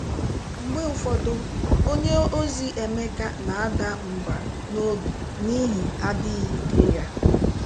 Mgbe ụfọdụ, onye ozi Emeka na-ada mba n’obi n’ihi adịghị ike ya.